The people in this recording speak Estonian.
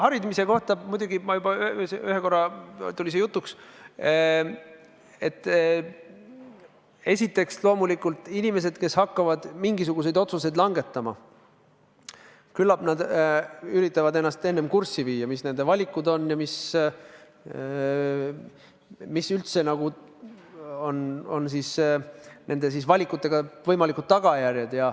Harimise kohta ma ütlen – see ühe korra juba tuli jutuks –, et esiteks, loomulikult inimesed, kes hakkavad mingisuguseid otsuseid langetama, küllap üritavad ennast enne kurssi viia, mis nende valikud on ja mis on nende valikute korral võimalikud tagajärjed.